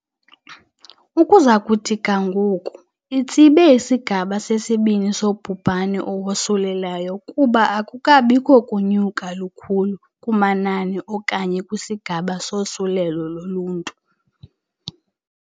" Ukuza kuthi ga ngoku, itsibe isigaba sesibini sobhubhane owosulelayo kuba akukabikho kunyuka lukhulu kumanani okanye kwisigaba sosulelo loluntu.